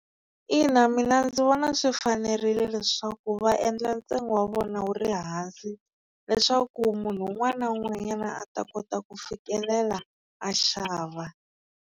Ina mina ndzi vona swi fanerile leswaku va endla ntsengo wa vona wu ri hansi leswaku munhu un'wana na un'wanyana a ta kota ku fikelela a xava.